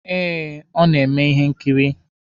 Eh, ọ na-eme ihe nkiri.